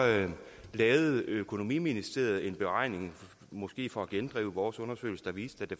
lavede økonomiministeriet en beregning måske for at gendrive vores undersøgelse der viste at det